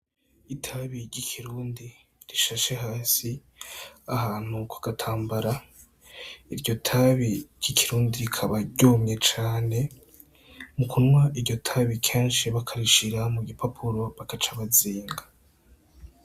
Itabi ry'ikirundi rishashe hasi ahantu kugatambara. Iryotabi ry'ikirundi rikaba ryumye cane; mukunwa iryotabi kenshi bakarishira mugipapuro bagaca bazinga.